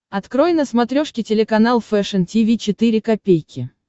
открой на смотрешке телеканал фэшн ти ви четыре ка